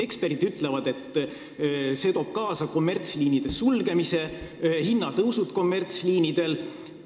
Eksperdid ütlevad, et see toob kaasa kommertsliinide sulgemise ja hinnatõusu kommertsliinidel.